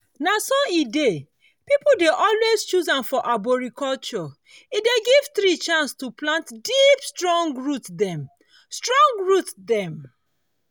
na so e dey people dey always choose am for arboriculture e dey give tree chance to plant deep strong root dem. strong root dem.